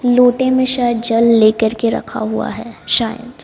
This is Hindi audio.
लोटे में शायद जल लेकर के रखा हुआ है शायद।